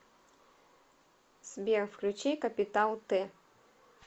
сбер включи капитал т